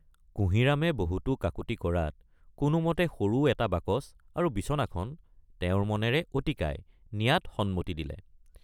কুঁহিৰামে বহুতো কাকূতি কৰাত কোনোমতে সৰু এটা বাকচ আৰু বিছনাখন তেওঁৰ মনেৰে অতিকায় নিয়াত সন্মতি দিলে।